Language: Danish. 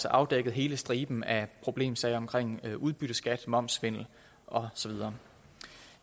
afdækket hele striben af problemsager omkring udbytteskatten momssvindel og så videre